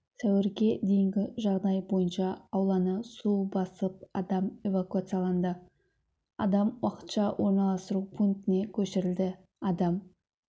сәуірге дейінгі жағдай бойынша ауланы су басып адам эвакуацияланды адам уақытша орналастыру пунктіне көшірілді адам